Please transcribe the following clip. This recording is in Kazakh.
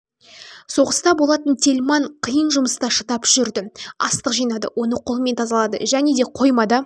соғыста болатын тельман қиын жұмыста шыдап жүрді астық жинады оны қолмен тазалады және де қоймада